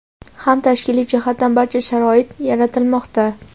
ham tashkiliy jihatdan barcha sharoit yaratilmoqda.